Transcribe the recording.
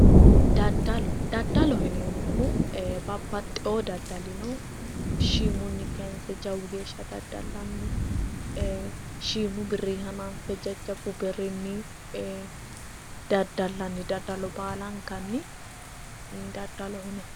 Daddalloho, daddalloho yineemmohu babbaxewo daddalla shiimunni kayse jawu geeshsha daddallanni shiimu birrinni hananfe jajjabbu birrinni e'e daddallanni daddallo baalankanni daddalloho yinnanni